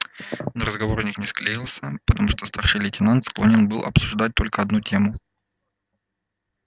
но разговор у них не склеился потому что старший лейтенант склонен был обсуждать только одну тему